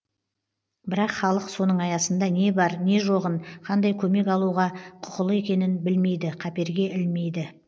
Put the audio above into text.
бірақ халық соның аясында не бар не жоғын қандай көмек алуға құқылы екенін білмейді қаперге ілмейді